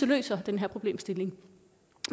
løser den her problemstilling